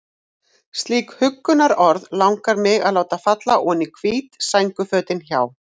Slík huggunarorð langar mig að láta falla oní hvít sængurfötin hjá